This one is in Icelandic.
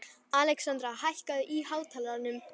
Alexandra, hækkaðu í hátalaranum.